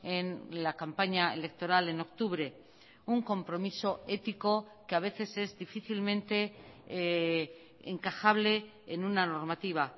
en la campaña electoral en octubre un compromiso ético que a veces es difícilmente encajable en una normativa